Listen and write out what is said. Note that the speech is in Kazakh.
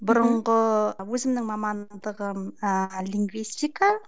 бұрынғы өзімнің мамандығым ыыы лингвистика